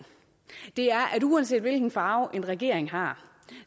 er at uanset hvilken farve en regering har